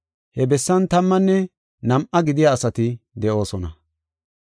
He bessan tammanne nam7a gidiya asati de7oosona.